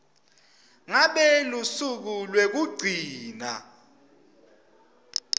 ngabe lusuku lwekugcina